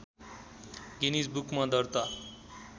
Guinness बुकमा दर्ता